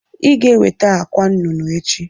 Iga eweta akwa nụnụ echi.